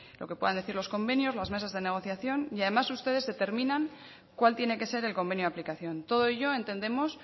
lo que puedan decir los convenios las mesas de negociación y además ustedes determinan cuál tiene que ser el convenio de aplicación todo ello entendemos